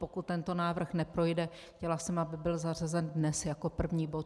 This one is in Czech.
Pokud tento návrh neprojde, chtěla jsem, aby byl zařazen dnes jako první bod.